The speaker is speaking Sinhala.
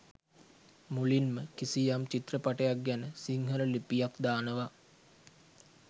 මුලින්ම කිසියම් චිත්‍රපටයක් ගැන සිංහල ලිපියක් දානවා.